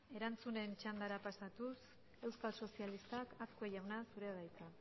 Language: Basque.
erantzunen txandara pasatuz euskal sozialistak azkue jauna zurea da hitza